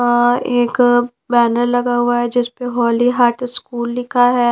औ एक बैनर लगा हुआ है जिस पे हॉली हार्ट स्कूल लिखा है।